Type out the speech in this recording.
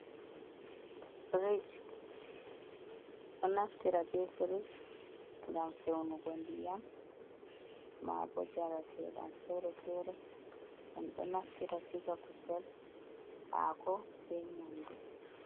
Frish ɗo naftira be frish ngam fewnugo ndiyam ma bo jaratedam fere-fere, en do naftira siga kusel, hako, be nyamdu.